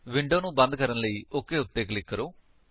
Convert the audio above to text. window ਨੂੰ ਬੰਦ ਕਰਨ ਲਈ ਓਕ ਉੱਤੇ ਕਲਿਕ ਕਰੋ